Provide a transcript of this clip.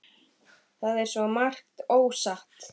Það er svo margt ósagt.